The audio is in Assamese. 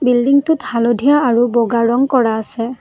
বিল্ডিং টোত হালধীয়া আৰু বগা ৰং কৰা আছে।